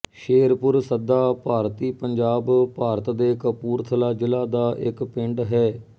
ਸ਼ੇਰਪੁਰ ਸੱਦਾ ਭਾਰਤੀ ਪੰਜਾਬ ਭਾਰਤ ਦੇ ਕਪੂਰਥਲਾ ਜ਼ਿਲ੍ਹਾ ਦਾ ਇੱਕ ਪਿੰਡ ਹੈ